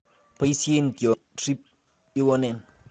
Boisien tiongik alak chemonomegei ak red banded thrip iwonen